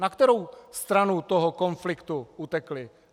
Na kterou stranu toho konfliktu utekli?